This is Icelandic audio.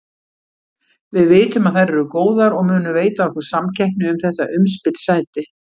Við vitum að þær eru góðar og munu veita okkur samkeppni um þetta umspilssæti.